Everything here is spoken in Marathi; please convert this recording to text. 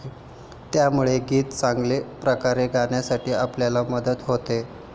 त्यामुळे गीत चांगल्या प्रकारे गाण्यासाठी आपल्याला मदत होते.